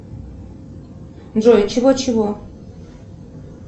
джой чего чего